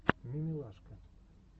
мимилашка